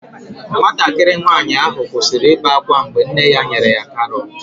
Nwatakịrị nwanyị ahụ kwụsịrị ibe ákwá mgbe nne ya nyere ya karọt.